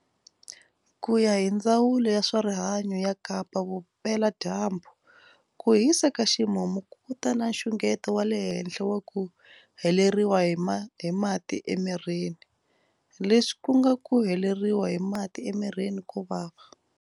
Ku ya hi Ndzawulo ya swa Rihanyu ya Kapa Vupela-Dyambu, ku hisa ka ximumu ku ta na nxungeto wa le henhla wa ku heleriwa hi mati emi-rini, leswi ku nga ku heleriwa hi mati emirini ko vava.